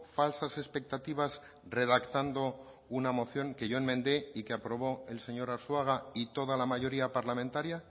falsas expectativas redactando una moción que yo enmendé y que aprobó el señor arzuaga y toda la mayoría parlamentaria